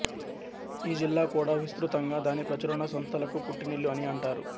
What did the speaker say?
ఈ జిల్లా కూడా విస్తృతంగా దాని ప్రచురణ సంస్థలకు పుట్టినిల్లు అని అంటారు